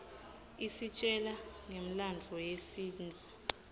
isitjela ngemlandvo yesintfu